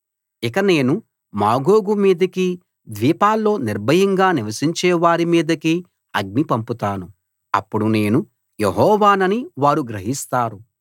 ఇక నేను మాగోగు మీదికీ ద్వీపాల్లో నిర్భయంగా నివసించే వారి మీదికీ అగ్ని పంపుతాను అప్పుడు నేను యెహోవానని వారు గ్రహిస్తారు